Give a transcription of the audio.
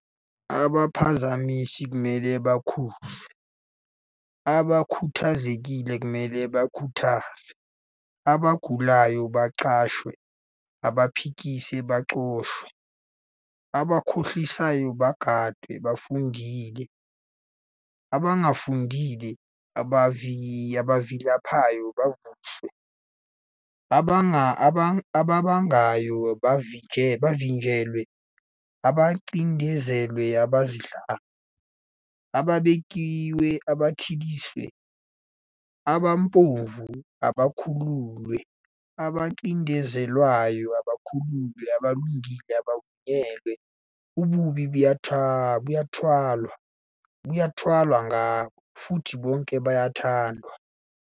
Abaphazamisi kumele bakhuzwe, abakhuthazekile kumele bakhuthazwe, abagulayo baxhaswe, abaphikisi baxoshwe, abakhohlisayo bagadwe, abafundile abangafundile, abavilaphayo bavuswe, ababangayo bavinjelwe, abacindezelwe abazidlayo, ababekiwe bathuliswe, abampofu bakhululwe, abacindezelweyo bakhululiwe, abalungile bavunyelwa, ububi bathwalwa ngabo, futhi bonke bayathandwa.